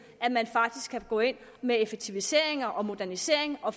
at man faktisk kan gå ind med effektiviseringer og modernisering og